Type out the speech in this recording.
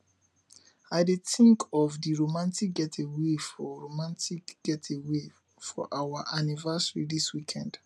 i dey tink of di romantic getaway for romantic getaway for our anniversary dis weekend